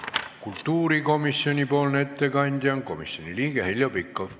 Kultuurikomisjoni ettekandja on komisjoni liige Heljo Pikhof.